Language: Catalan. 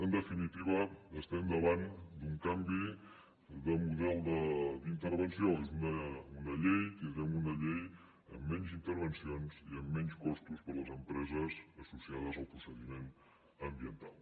en definitiva estem davant d’un canvi de model d’intervenció tindrem una llei amb menys intervencions i amb menys costos per a les empreses associades al procediment ambiental